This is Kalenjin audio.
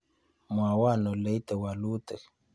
Mwawon oleite wolutik